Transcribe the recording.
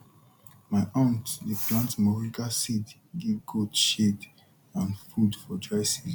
my aunt dey plant moringa tree give goat shade and food for dry season